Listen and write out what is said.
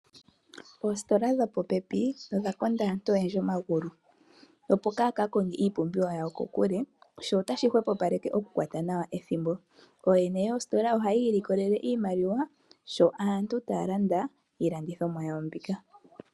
Poositola dho popepi odha konda aantu oyendji omagulu. Opo kaya konge iipumbiwa yawo kokule. Sho otashi hwepopaleke okukwata nawa ethimbo. Ooyene yositola ohaya ilikolele iimaliwa sho aantu taya landa iilandithomwa yawo mbika.